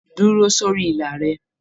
Dúró sórí ìlà rẹ!